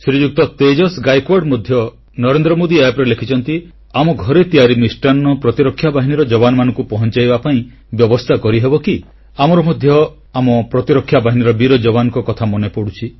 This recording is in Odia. ଶ୍ରୀଯୁକ୍ତ ତେଜସ୍ ଗାଏକୱାଡ଼ ମଧ୍ୟ NarendraModiApp ରେ ଲେଖିଛନ୍ତି ଆମ ଘରେ ତିଆରି ମିଷ୍ଟାନ୍ନ ପ୍ରତିରକ୍ଷା ବାହିନୀର ଯବାନମାନଙ୍କୁ ପହଂଚାଇବା ପାଇଁ ବ୍ୟବସ୍ଥା କରିହେବ କି ଆମର ମଧ୍ୟ ଆମ ପ୍ରତିରକ୍ଷା ବାହିନୀର ବୀର ଯବାନମାନଙ୍କ କଥା ମନେପଡ଼ୁଛି